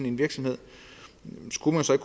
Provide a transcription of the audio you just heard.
en virksomhed og skulle man så